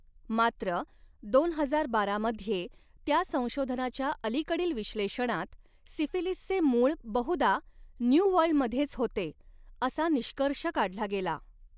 मात्र, दोन हजार बारा मध्ये त्या संशोधनाच्या अलीकडील विश्लेषणात, सिफिलीसचे मूळ बहुदा न्यू वर्ल्डमध्येच होते असा निष्कर्ष काढला गेला.